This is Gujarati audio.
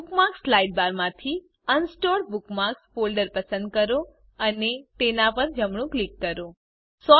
બુકમાર્ક્સ સાઇડબારમાંથી અનસોર્ટેડ બુકમાર્ક્સ ફોલ્ડર પસંદ કરો અને તેના પર જમણું ક્લિક કરો